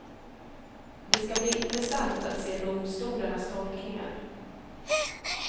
Det ska bli intressant att se domstolarnas tolkningar.